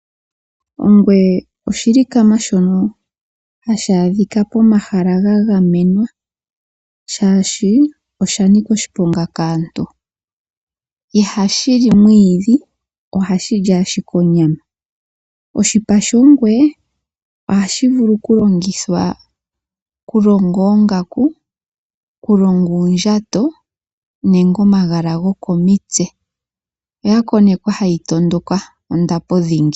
Ongwe oshilikama shono hashi adhika pomahala ngono ga gamenwa, oshoka osha nika oshiponga kaantu. Ihashi li mwiidhi li ashike onyama. Oshipa shongwe ohashi vulu okulongithwa okulonga oongaku, okulonga uundjato nenge omagala gokomitse. Oya konekwa hayi tondoka ondapo kamana.